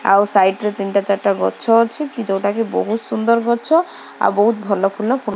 ଆଉ ସାଇଟ୍ ରେ ତିନିଟା ଚାରିଟା ଗଛ ଅଛି ଯୋଉଟା କି ବହୁତ୍ ସୁନ୍ଦର ଗଛ ଆଉ ବହୁତ ଭଲ ଫୁଲ ଫୁଟୁ --